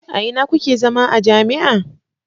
A ina kuke zama a jami'a?